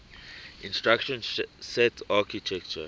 instruction set architecture